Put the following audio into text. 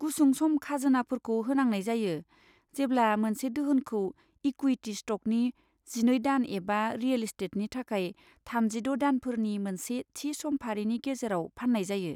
गुसुं सम खाजोनाफोरखौ होनांनाय जायो, जेब्ला मोनसे दोहोनखौ इकुइटी स्ट'कनि जिनै दान एबा रियेल एस्टेटनि थाखाय थामजिद' दानफोरनि मोनसे थि समफारिनि गेजेराव फान्नाय जायो।